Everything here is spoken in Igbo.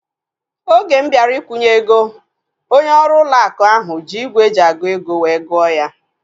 Oge m bịara ikwunye ego, onye ọrụ ụlọ akụ ahu ji ígwè eji agụ ego wee gụọ ya